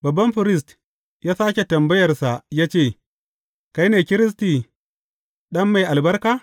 Babban firist ya sāke tambayarsa ya ce, Kai ne Kiristi, Ɗan Mai Albarka?